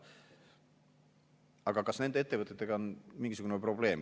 Aga kas nende ettevõtetega on mingisugune probleem?